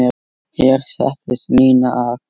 Hér settist Ninna að.